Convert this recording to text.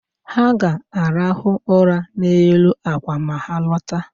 Ha ga-arahụ ụra n’elu àkwà ma ha lọta